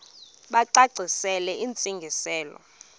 bacacisele intsi ngiselo